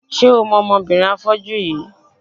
Ṣé o mọ ọmọbìnrin afọ́jú yìí?